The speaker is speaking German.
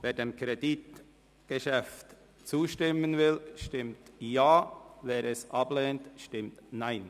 Wer dem Kreditgeschäft zustimmen will, stimmt Ja, wer diesen ablehnt, stimmt Nein.